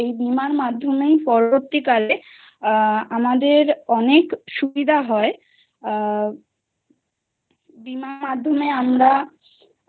কারণ এই বিমা মাধ্যমেই পরবর্তীকালে আমাদের অনেক সুবিধা হয়। আ বিমার মাধ্যমে আমরা